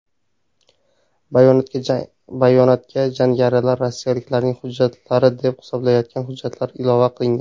Bayonotga jangarilar rossiyaliklarning hujjatlari deb hisoblayotgan hujjatlar ilova qilingan.